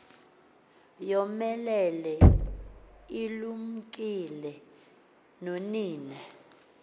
yomelele ilumkile nonina